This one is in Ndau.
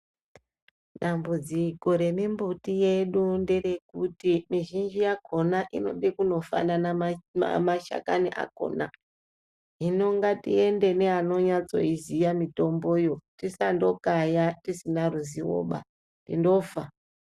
Dambudziko remimbuti yedu nderekuti mizhinji yakona inode kuno kufanana mashakani akona, hino ngatiende neanonyatso iziya mitomboyo tisandokaya tisina ruzivoba tinofa.